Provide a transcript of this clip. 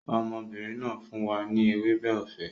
Ọmọbìnrin náà fún wa ní ewébẹ̀ ọ̀fẹ́